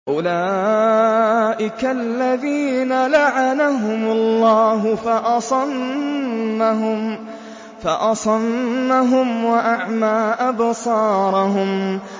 أُولَٰئِكَ الَّذِينَ لَعَنَهُمُ اللَّهُ فَأَصَمَّهُمْ وَأَعْمَىٰ أَبْصَارَهُمْ